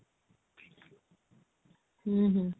ହୁଁ ହୁଁ